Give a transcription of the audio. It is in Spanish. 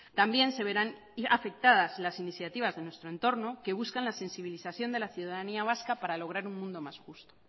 también se verán afectadas las iniciativas de nuestro entorno que buscan la sensibilización de la ciudadanía vasca para lograr un mundo más justo